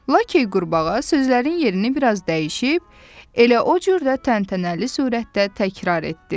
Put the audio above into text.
Lakey qurbağa sözlərin yerini biraz dəyişib, elə o cür də təntənəli surətdə təkrar etdi.